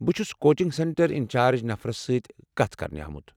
بہٕ چھُس coaching centre in charge نفرس سٕتۍ كتھ كرنہِ آمُت ۔